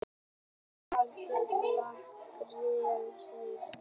Húsbíll valt á Laxárdalsheiði